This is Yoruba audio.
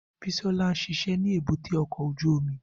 Bisola ń ṣiṣẹ́ ní èbúté ọkọ̀ ojú omi